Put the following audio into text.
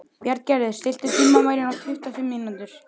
Bjarngerður, stilltu tímamælinn á tuttugu og fimm mínútur.